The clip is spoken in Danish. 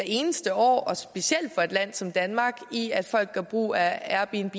eneste år specielt for et land som danmark i at folk gør brug af airbnb